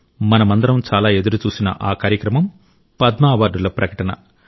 మనమందరం చాలా ఎదురుచూసిన ఆ కార్యక్రమం పద్మ అవార్డుల ప్రకటన